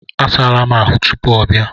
A saala m ahụ tupuu ọ bịa.